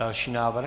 Další návrh?